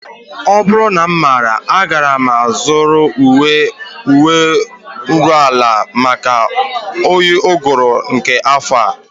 Ọ bụrụ na m maara agaara m azụrụ uwe nruala maka oyi uguru nke afọ a